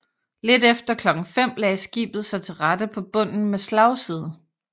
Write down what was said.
Lidt efter klokken 5 lagde skibet sig til rette på bunden med slagside